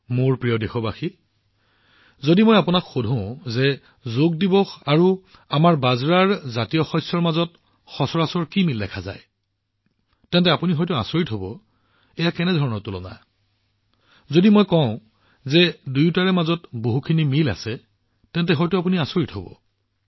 মোৰ মৰমৰ দেশবাসীসকল যদি মই আপোনালোকক শুধো যে যোগ দিৱস আৰু আমাৰ বিভিন্ন প্ৰকাৰৰ মোটা শস্য বাজৰাৰ মাজত কি সচৰাচৰ মিল দেখা যায় তেন্তে আপোনালোকে ভাবিব পাৰে এইটো কি তুলনা যদি মই কওঁ যে দুয়োটাৰে মাজত যথেষ্ট মিল আছে আপোনালোকে আচৰিত হব